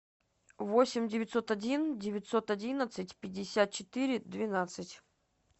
восемь девятьсот один девятьсот одиннадцать пятьдесят четыре двенадцать